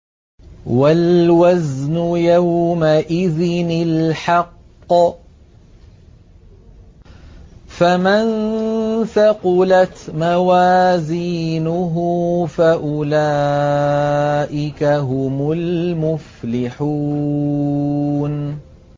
وَالْوَزْنُ يَوْمَئِذٍ الْحَقُّ ۚ فَمَن ثَقُلَتْ مَوَازِينُهُ فَأُولَٰئِكَ هُمُ الْمُفْلِحُونَ